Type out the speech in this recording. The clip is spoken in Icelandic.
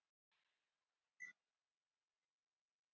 Nei, held ekki